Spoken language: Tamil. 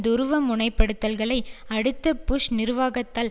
துருவமுனைப்படுத்தல்களை அடுத்து புஷ் நிர்வாகத்தால்